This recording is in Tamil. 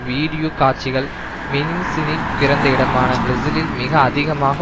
வீடியோ காட்சிகள் மெனின்ஸினின் பிறந்த இடமான பிரேசிலில் மிக அதிகமாக